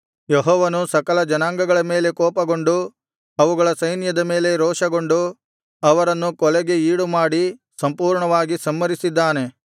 ಯೆಹೋವನು ಸಕಲ ಜನಾಂಗಗಳ ಮೇಲೆ ಕೋಪಗೊಂಡು ಅವುಗಳ ಸೈನ್ಯದ ಮೇಲೆ ರೋಷಗೊಂಡು ಅವರನ್ನು ಕೊಲೆಗೆ ಈಡುಮಾಡಿ ಸಂಪೂರ್ಣವಾಗಿ ಸಂಹರಿಸಿದ್ದಾನೆ